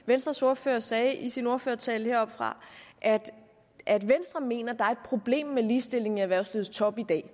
venstres ordfører sagde i sin ordførertale heroppefra at venstre mener at der er et problem med ligestillingen i erhvervslivets top i dag